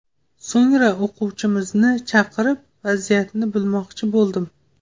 So‘ngra o‘quvchimizni chaqirib, vaziyatni bilmoqchi bo‘ldim.